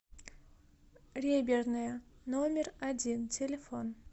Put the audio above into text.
реберная номер один телефон